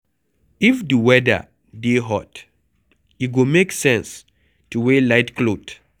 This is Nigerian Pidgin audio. If di weather dey hot, e go make sense to wear light cloth